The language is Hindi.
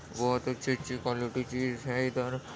बोहोत अच्छी-अच्छी क्वालिटी चीज़ है इधर --